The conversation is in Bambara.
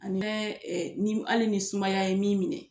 An bɛ hali ni sumaya ye min minɛ